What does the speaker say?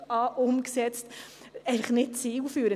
– Das ist eigentlich nicht zielführend.